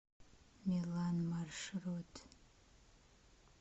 милан маршрут